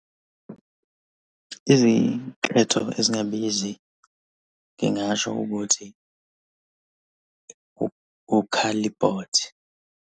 Izinketho ezingabizi ngingasho ukuthi ukhalibhothi.